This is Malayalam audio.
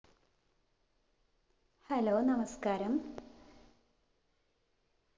hello നമസ്കാരം